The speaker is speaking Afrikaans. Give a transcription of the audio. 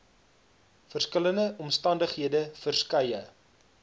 verskillende omstandighede verskeie